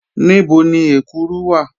Níbò̀ ni èkúrù wà?